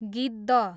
गिद्ध